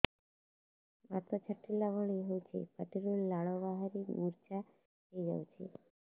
ବାତ ଛାଟିଲା ଭଳି ହଉଚି ପାଟିରୁ ଲାଳ ବାହାରି ମୁର୍ଚ୍ଛା ହେଇଯାଉଛି